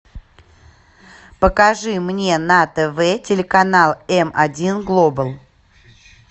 покажи мне на тв телеканал эм один глобал